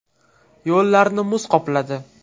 Yo‘llarni muz qopladi.